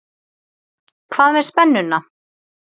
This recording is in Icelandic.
Hvað með spennuna?